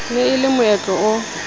ne e le moetlo o